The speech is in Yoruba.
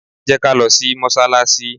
Jẹ́ ká lọ sí mọ́sálásí!